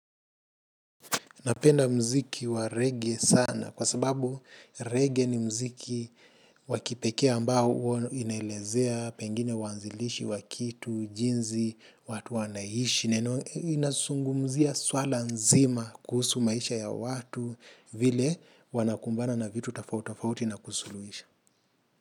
Napenda mziki wa rege sana kwa sababu rege ni mziki wa kipekee ambao inaelezea pengine uwanzilishi wa kitu, jinzi, watu wanaishi. Inasungumzia swala nzima kuhusu maisha ya watu vile wanakumbana na vitu tofauti tofauti na kusuluisha.